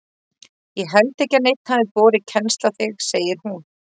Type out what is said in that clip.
Ég held ekki að neinn hafi borið kennsl á þig segir hún.